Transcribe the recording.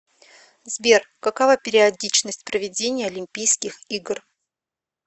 сбер какова периодичность проведения олимпийских игр